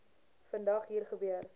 vandag hier gebeur